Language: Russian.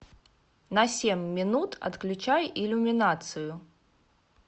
на семь минут отключай иллюминацию